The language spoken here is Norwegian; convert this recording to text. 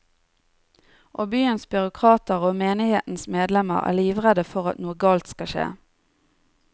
Og byens byråkrater og menighetens medlemmer er livredde for at noe galt skal skje.